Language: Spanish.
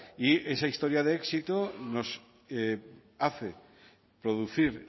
y esa historia de éxito nos hace producir